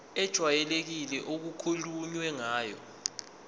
ejwayelekile okukhulunywe ngayo